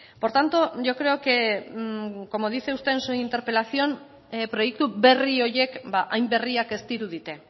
por tanto yo creo que como dice usted en su interpelación proiektu berri horiek hain berriak ez dirudite